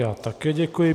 Já také děkuji.